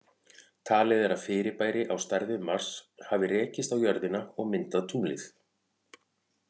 Talið er að fyrirbæri á stærð við Mars hafi rekist á jörðina og myndað tunglið.